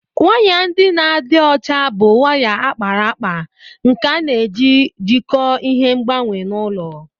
Waya ndị na-adị ọcha bụ waya a kpara akpa nke a na-eji jikọọ ihe ngbanwe na ụlọ